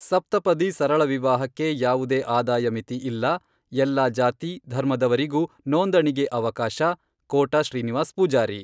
ಸಪ್ತಪದಿ ಸರಳ ವಿವಾಹಕ್ಕೆ ಯಾವುದೇ ಆದಾಯ ಮಿತಿ ಇಲ್ಲ , ಎಲ್ಲಾ ಜಾತಿ, ಧರ್ಮದವರಿಗೂ ನೋಂದಣಿಗೆ ಅವಕಾಶ, ಕೋಟಾ ಶ್ರೀನಿವಾಸ್ ಪೂಜಾರಿ.